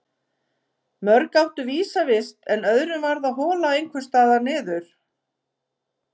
Mörg áttu vísa vist en öðrum varð að hola einhvers staðar niður.